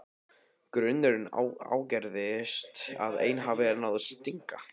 Grunurinn ágerist að ein hafi náð að stinga.